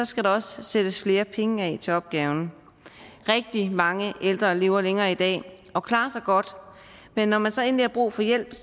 skal der også sættes flere penge af til opgaven rigtig mange ældre lever længere i dag og klarer sig godt men når man så endelig har brug for hjælp